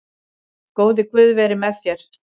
Góði Guð veri með þér.